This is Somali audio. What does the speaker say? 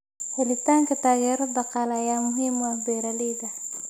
Helitaanka taageero dhaqaale ayaa muhiim u ah beeralayda.